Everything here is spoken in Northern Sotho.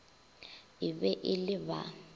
e be e le ba